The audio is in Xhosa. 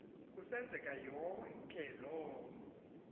kusenzeka yonke loo